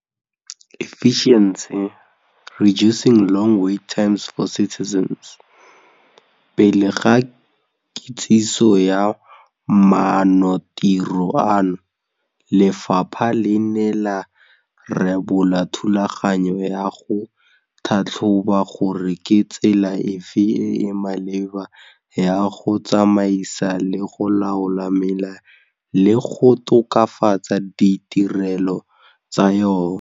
Pele ga kitsiso ya maanotiro ano, lefapha le ne la rebola thulaganyo ya go tlhatlhoba gore ke tsela efe e e maleba ya go tsamaisa le go laola mela le go tokafatsa ditirelo tsa yona.